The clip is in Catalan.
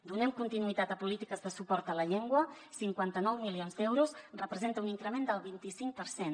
donem continuïtat a polítiques de suport a la llengua cinquanta nou milions d’euros representa un increment del vint i cinc per cent